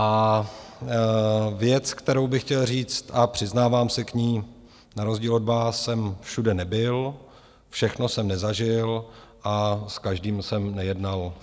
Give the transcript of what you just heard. A věc, kterou bych chtěl říct, a přiznávám se k ní, na rozdíl od vás jsem všude nebyl, všechno jsem nezažil a s každým jsem nejednal.